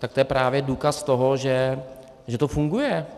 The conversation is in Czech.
Tak to je právě důkaz toho, že to funguje.